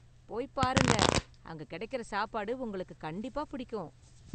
போய் பாருங்க, அங்க கிடைக்குற சாப்பாடு உங்களுக்கு கண்டிப்பா பிடிக்கும்.